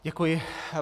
Děkuji.